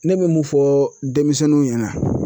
Ne be mun fɔ denmisɛnninw ɲɛna